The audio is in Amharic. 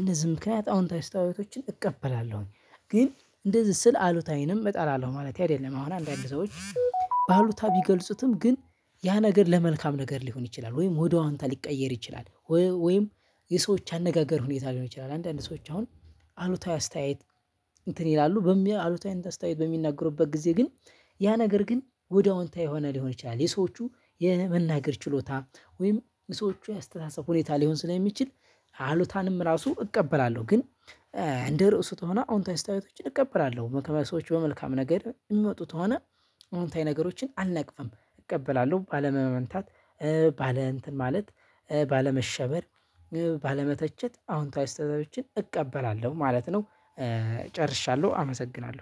እንደዚህ ምክንያት አዎንታዊ አስተያየቶችን እቀበላለሁኝ። ግን እንደዚህ ስል አሉታዊንም እጠላለሁ ማለት አይደለም አሁን አንዳንድ ሰዎች በአሉታ ቢገልጹትም ግን ያ ነገር ለመልካም ነገር ሊሆን ይችላል ወይም ወደ አዎንታ ሊቀየር ይችላል። ወይም የሰዎች አነጋገር ሁኔታ ሊሆን ይችላል አንዳንድ ሰዎች አሁን አሉታዊ አስተያየት። እንትን ይላሉ አሉታዊ አስተያየት በሚናገሩበት ጊዜ ግን ያ ነገር ግን ወደ አዎንታዊ የሆነ ሊሆን ይችላል የሰዎቹ የመናገር ችሎታ ወይም የሰዎቹ የአስተሳሰብ ሁኔታ ሊሆን ስለሚችል። አሉታንም ራሱ እቀበላለሁ ግን እንደ ርዕሱ ተሆነ አዎንታዊ አስተያየቶችን እቀበላለሁ። ከሰዎች በመልካም ነገር የሚመጡት ተሆነ አዎንታዊ ነገሮችን አልነቅፍም እቀበላለሁ ባለማመንታት። ባለ እንትን ማለት ባለመሸበር ባለመተቸት አዎንታዊ አስተያየቶችን እቀበላለሁ ማለት ነው። ጨርሻለሁ አመሰግናለሁ